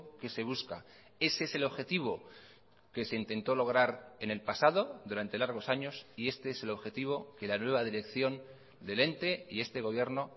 que se busca ese es el objetivo que se intentó lograr en el pasado durante largos años y este es el objetivo que la nueva dirección del ente y este gobierno